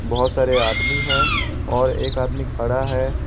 बहुत सारे आदमी है और एक आदमी खड़ा है।